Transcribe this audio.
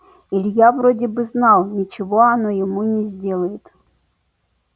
илья вроде бы знал ничего она ему не сделает